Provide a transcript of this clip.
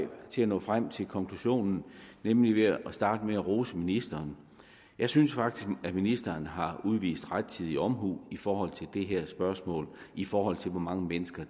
til at nå frem til konklusionen nemlig ved at starte med at rose ministeren jeg synes faktisk at ministeren har udvist rettidig omhu i forhold til det her spørgsmål i forhold til hvor mange mennesker